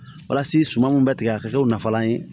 Walasa suman mun bɛ tigɛ a ka kɛw nafalan ye